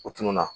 O tununna